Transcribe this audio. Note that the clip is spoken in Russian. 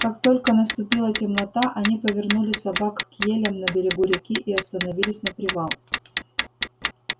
как только наступила темнота они повернули собак к елям на берегу реки и остановились на привал